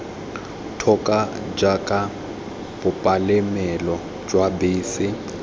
thoko jaaka bopalamelo jwa bese